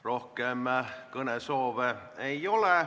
Rohkem kõnesoove ei ole.